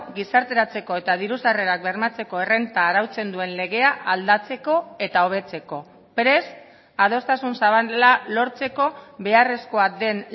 gizarteratzeko eta diru sarrerak bermatzeko errenta arautzen duen legea aldatzeko eta hobetzeko prest adostasun zabala lortzeko beharrezkoa den